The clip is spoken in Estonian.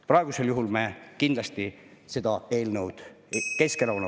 Praegusel juhul Keskerakonna fraktsioon kindlasti seda eelnõu ei toeta.